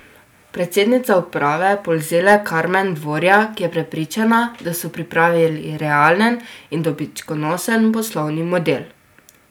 Predsednica uprave Polzele Karmen Dvorjak je prepričana, da so pripravili realen in dobičkonosen poslovni model.